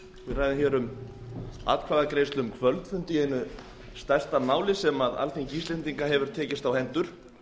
atkvæðagreiðslu um kvöldfund í einu stærsta máli sem alþingi íslendinga hefur tekist á hendur